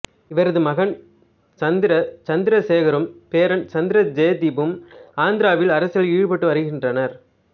இவரது மகன் சந்திர சந்திரசேகரும் பேரன் சந்திர ஜெய்தீப்பும் ஆந்திராவில் அரசியலில் ஈடுபட்டு வருகின்றனர்